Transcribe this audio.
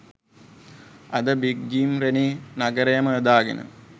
අද big Jim Rennie නගරයම යොදාගෙන